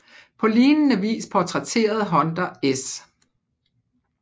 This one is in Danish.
På lignende vis portrætterede Hunter S